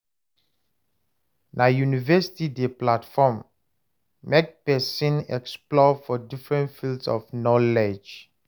Na University dey platform make pesin explore different fields of knowledge.